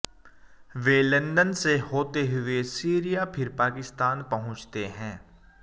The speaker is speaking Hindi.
वे लंदन से होते हुए सीरिया फिर पाकिस्तान पहुंचते हैं